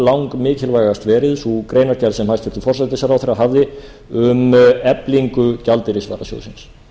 lang langmikuilvægast verið sú greinargerð sem hæstvirtur forsætisráðherra hafði um eflingu gjaldeyrisvarasjóðsins